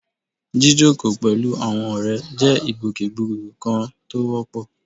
Jíjókòó pẹ̀lú àwọn ọ̀rẹ́ jẹ́ ìgbòkègbodò kan tó wọ́pọ̀